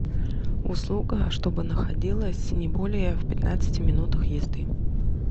услуга чтобы находилась не более в пятнадцати минутах езды